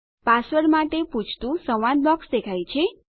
password માટે પૂછતું સંવાદ બોક્સ દેખાય છે